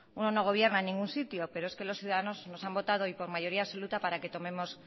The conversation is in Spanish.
uno no gobierna en ningún sitio pero es que los ciudadanos nos han votado y por mayoría absoluta para que tomemos